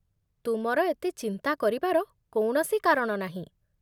ତୁମର ଏତେ ଚିନ୍ତା କରିବାର କୌଣସି କାରଣ ନାହିଁ